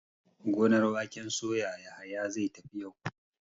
Gonar waken soya Yahaya zai tafi yau.